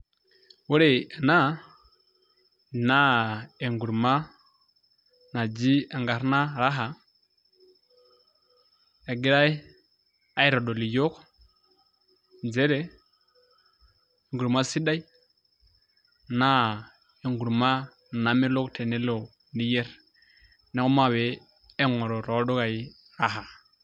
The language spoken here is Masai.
Ore ena naa enkurma naji enkarna raha egirai aitodol iyiok, njere enkurma sidai naa enkurma namelok tenelo niyer, na omape aing'oru toldukai raha.